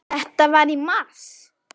Þetta var í mars.